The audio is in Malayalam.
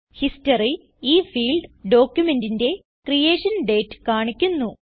ഹിസ്റ്ററി - ഈ ഫീൽഡ് ഡോക്യുമെന്റിന്റെ ക്രിയേഷൻ ഡേറ്റ് കാണിക്കുന്നു